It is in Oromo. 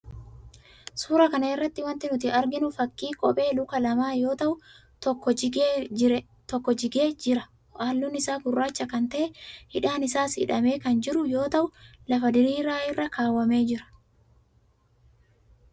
Suuraa kana irraa wanti nuti arginu fakkii kophee luka lamaa yoo ta'u tokko jigee jire halluun isaa gurraacha kan ta'e, hidhaan isaas hidhamee kan jiru yoo ta'u, lafa diriiraa irra kaawwamee jira.